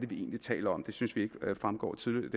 vi egentlig taler om det synes vi ikke fremgår tydeligt